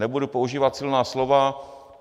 Nebudu používat silná slova.